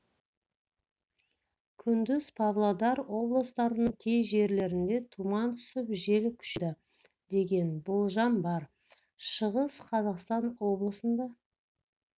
күндіз павлодар облыстарының кей жерлерінде тұман түсіп жел күшейеді деген болжам бар шығыс қазақстан облысында